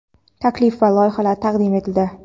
taklif va loyihalar taqdim etildi.